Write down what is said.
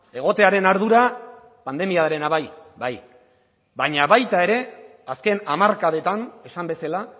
egotearen ardura pandemiarena bai bai baina baita ere azken hamarkadetan esan bezala